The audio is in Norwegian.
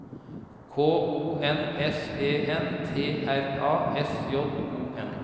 K O N S E N T R A S J O N